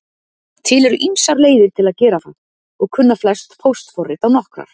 Til eru ýmsar leiðir til að gera það og kunna flest póstforrit á nokkrar.